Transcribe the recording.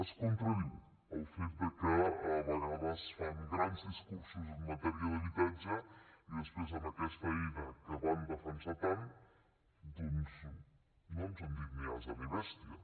es contradiu el fet de que a vegades fan grans discursos en matèria d’habitatge i després en aquesta eina que van defensar tant no ens han dit ni ase ni bèstia